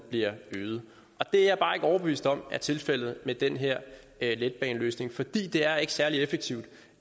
bliver øget det er jeg bare ikke overbevist om er tilfældet med den her letbaneløsning fordi det ikke er særlig effektivt